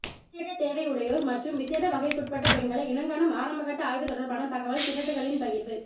விசேட தேவை உடையோர் மற்றும் விசேட வகைக்குட்பட்ட பெண்களை இனங்காணும் ஆரம்பகட்ட ஆய்வு தொடர்பான தகவல் திரட்டுக்களின் பகிர்வு